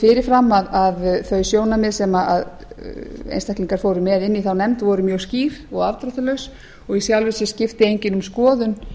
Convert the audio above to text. fyrir fram að þau sjónarmið sem einstaklingar fóru með inn í þá nefnd voru mjög skýr og afdráttarlaus og í sjálfu sér skipti enginn um skoðun